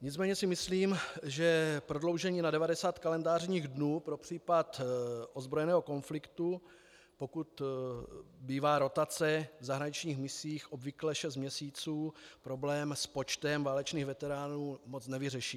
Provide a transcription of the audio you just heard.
Nicméně si myslím, že prodloužení na 90 kalendářních dní pro případ ozbrojeného konfliktu, pokud bývá rotace v zahraničních misích obvykle šest měsíců, problém s počtem válečných veteránů moc nevyřeší.